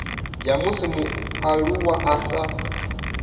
ya musi mualuwa a sa